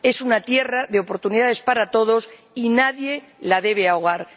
Es una tierra de oportunidades para todos y nadie la debe ahogar.